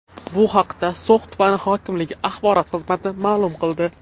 Bu haqda So‘x tumani hokimligi axborot xizmati ma’lum qildi .